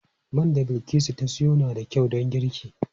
Man da Bilkisu ta sayo na da kyau don girki.